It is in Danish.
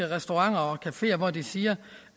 restauranter og cafeer hvor de siger